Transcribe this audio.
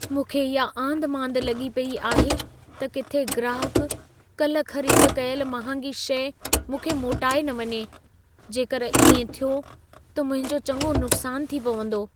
मूंखे इहा आंधिमांधि लॻी पेई आहे त किथे ग्राहकु कल्ह ख़रीद कयल महांगी शइ मूंखे मोटाए न वञे। जेकर इएं थियो त मुंहिंजो चङो नुक़सानु थी पवंदो।